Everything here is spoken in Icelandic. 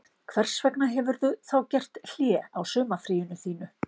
Hvers vegna hefurðu þá gert hlé á sumarfríinu þínu